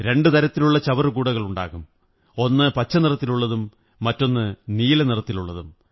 രണ്ടു തരത്തിലുള്ള ചവറുകൂടകളുണ്ടാകും ഒന്നു പച്ച നിറത്തിലുള്ളതും മറ്റൊന്ന് നീല നിറത്തിലുള്ളതും